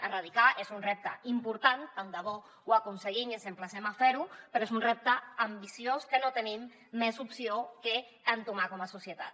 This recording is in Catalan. erradicar és un repte important tant de bo ho aconseguim i els emplacem a fer ho però és un repte ambiciós que no tenim més opció que entomar com a societat